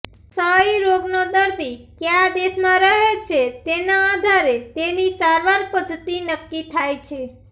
ક્ષય રોગનો દર્દી ક્યા દેશમાં રહે છે તેના આધારે તેની સારવાર પદ્ધતિ નક્કી થાય છે